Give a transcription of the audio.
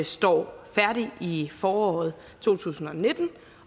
står færdig i foråret to tusind og nitten og